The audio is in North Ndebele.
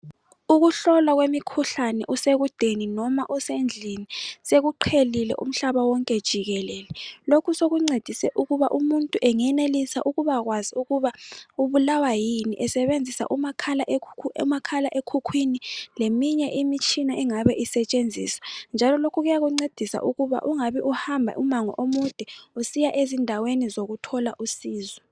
Ukuhlolwa kwemikhuhlane usekudeni noma usendlini sekuqhelile umhlaba wonke jikelele. Lokhu sokuncedise ukuba umuntu engenelisa ukubakwazi ukuba ubulawa yini esebenzisa umakhala ekhukhwini leminye imitshina engaba isetshenziswa njalo lokhu kuyakuncedisa ukuba ungabi uhamba umango omude usiya ezindaweni zokuthola usizo.